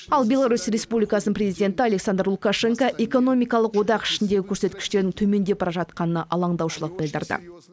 ал беларусь республикасының президенті александр лукашенко экономикалық одақ ішіндегі көрсеткіштердің төмендеп бара жатқанына алаңдаушылық білдірді